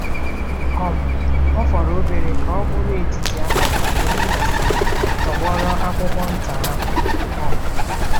um * Ọ fọrọ obere ka ọ bụrụ etiti abalị mgbe m mesịrị tọgbọrọ akwụkwọ nta ahụ um.